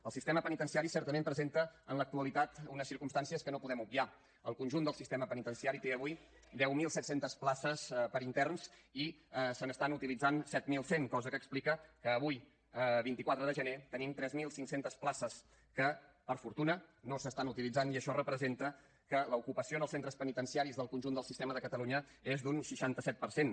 el sistema penitenciari certament presenta en l’actualitat unes circumstàncies que no podem obviar el conjunt del sistema penitenciari té avui deu mil set cents places per a interns i se n’estan utilitzant set mil cent cosa que explica que avui vint quatre de gener tenim tres mil cinc cents places que per fortuna no s’estan utilitzant i això representa que l’ocupació en els centres penitenciaris del conjunt del sistema de catalunya és d’un seixanta set per cent